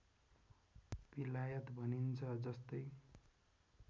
बिलायत भनिन्छ जस्तै